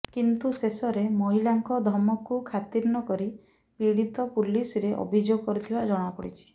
କିନ୍ତୁ ଶେଷରେ ମହିଳାଙ୍କ ଧମକୁ ଖାତିର୍ ନ କରି ପୀଡ଼ିତ ପୁଲିସରେ ଅଭିଯୋଗ କରିଥିବା ଜଣା ପଡ଼ିଛି